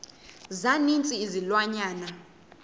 za ninzi izilwanyana